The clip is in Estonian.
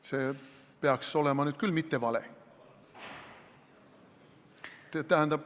See peaks olema nüüd küll mitte vale.